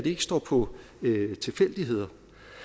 ikke står på tilfældigheder